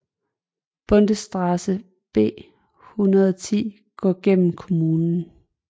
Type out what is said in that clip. Bundesstraße B 110 går gennem kommunen